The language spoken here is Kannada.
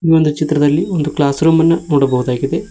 ಈ ಒಂದು ಚಿತ್ರದಲ್ಲಿ ಒಂದು ಕ್ಲಾಸ್ರೂಮ್ ಅನ್ನು ನೋಡಬಹುದಾಗಿದೆ.